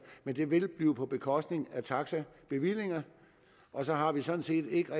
men det vil blive på bekostning af taxabevillingerne og så har vi sådan set ikke